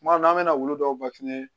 Kuma dɔ la an bɛ na wulu dɔw